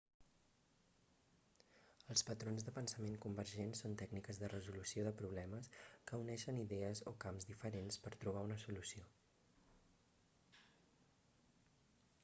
els patrons de pensament convergent són tècniques de resolució de problemes que uneixen idees o camps diferents per trobar una solució